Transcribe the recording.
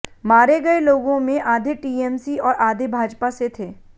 मारे गए लोगों में आधे टीएमसी और आधे भाजपा से थे